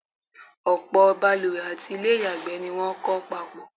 ọ̀pọ̀̀ baluwẹ̀ àti ilẹ́ ìyàgbẹ́ ni wọ́n kọ́ papọ̀.